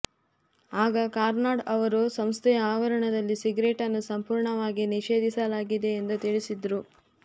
ಆಗ ಕಾರ್ನಾಡ್ ಅವರು ಸಂಸ್ಥೆಯ ಆವರಣದಲ್ಲಿ ಸಿಗರೇಟನ್ನು ಸಂಪೂರ್ಣವಾಗಿ ನಿಷೇಧಿಸಲಾಗಿದೆ ಎಂದು ತಿಳಿಸಿದ್ದರು